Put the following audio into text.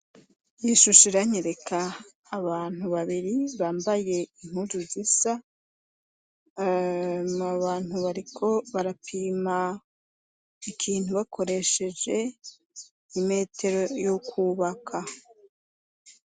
Iyi shusho iranyereka abantu babiri bambaye impuzu zisa, abo bantu bariko barapima ikintu bakoresheje imetero y'ukubaka.